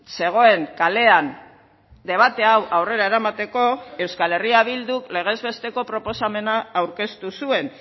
zegoen kalean debate hau aurrera eramateko euskal herria bilduk legez besteko proposamena aurkeztu zuen